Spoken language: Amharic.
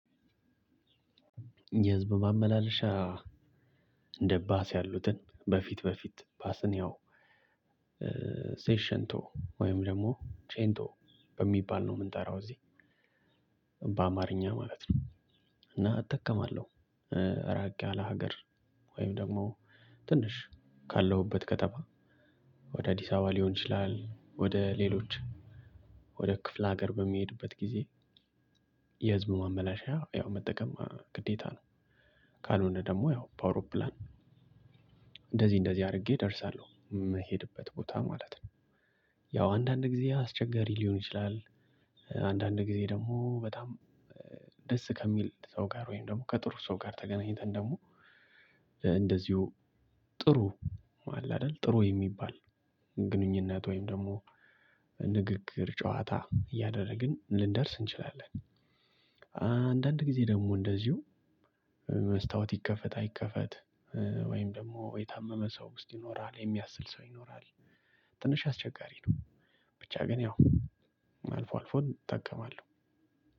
የህዝብ ማመላለሻ እንደ ባስ ያሉትን በፊት በፊት ባስን ያው ሴሽንቶ ወይም ደግሞ ቼንቶ በሚባል ነው የምንጠራው እዚህ በአማርኛ ማለት ነው እና እጠቀማለሁ እራቅ ያለ ሀገር ወይም ደግሞ ትንሽ ካለሁበት ከተማ ወደ አዲስ አበባ ሊሆን ይችላል ወደ ሌሎች ወደ ክፍለ ሀገር በሚሄድበት ጊዜ የህዝብ ማመላለሻ ያው መጠቀም ግዴታ ነው ካልሆነ ደግሞ ያው በአውሎፕራን እንደዚህ እንደዚህ አድርጌ እደርሳለሁ የምሄድበት ቦታ ማለት ነው ያው አንዳንድ ጊዜ አስቸጋሪ ሊሆን ይችላል አንዳንድ ጊዜ ደግሞ በጣም ደስ ከሚል ሰው ጋር ወይም ደግሞ ከጥሩ ሰው ጋር ተገናኝተን ደግሞ እንደዚሁ ጥሩ አለ አይደል ጥሩ የሚባል ግንኙነት ወይም ደግሞ ንግግር ጨዋታ እያደረግን ልንደርስ እንችላለን። አንዳንድ ጊዜ ደግሞ እንደዚሁ መስታወት ይከፈት አይከፈት ወይም ደግሞ የታመመ ሰው ውስጥ ይኖራል የሚያስል ሰው ይኖራል። ትንሽ አስቸጋሪ ነው ብቻ ግን ያው አልፎ አልፎ እጠቀማለሁ።